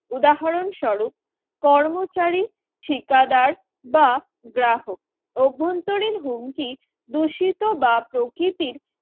উদাহরণ স্বরূপ কর্মচারী ঠিকাদার বা গ্রাহক অভ্যন্তরীণ হুমকি দূষিত বা প্রকৃতির